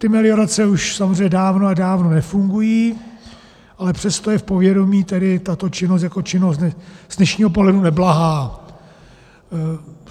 Ty meliorace už samozřejmě dávno a dávno nefungují, ale přesto je v povědomí tedy tato činnost jako činnost z dnešního pohledu neblahá.